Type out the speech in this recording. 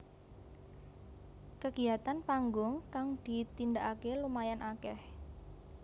Kegiatan panggung kang ditindakake lumayan akeh